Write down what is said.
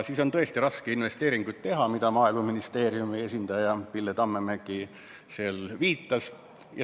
Nii on tõesti raske investeeringuid teha, millele Maaeluministeeriumi esindaja Pille Tammemägi viitas.